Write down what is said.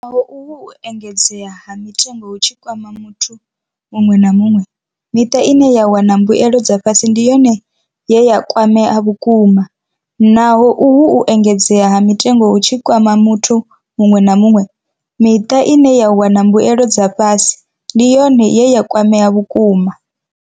Naho uhu u engedzea ha mitengo hu tshi kwama muthu muṅwe na muṅwe, miṱa ine ya wana mbuelo dza fhasi ndi yone ye ya kwamea vhukuma. Naho uhu u engedzea ha mitengo hu tshi kwama muthu muṅwe na muṅwe, miṱa ine ya wana mbuelo dza fhasi ndi yone ye ya kwamea vhukuma.